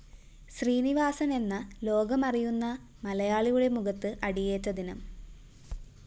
ശ്രീനിവാസനെന്ന ലോകമറിയുന്ന മലയാളിയുടെ മുഖത്ത് അടിയേറ്റ ദിനം